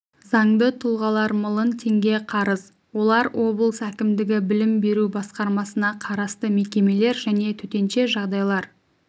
заңды тұлғалар млн теңге қарыз олар облыс әкімдігі білім беру басқармасына қарасты мекемелер және төтенше жағдайлар